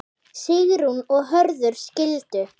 Sigrún og Hörður skildu.